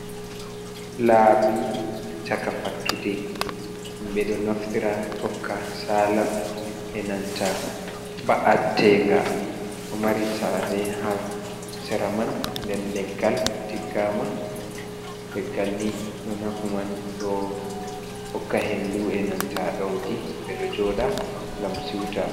Labi chaka fattude. Be do naftira tokka sala, e nanta ba’attenga. Ɗo mari sare ha cera man nden leggal tiggama. Leggal ni do nafu man do hokka hendu e nanta daudi be do joda gam siuta.